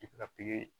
I bɛ ka pikiri